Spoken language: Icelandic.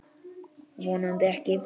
Vonandi ekki.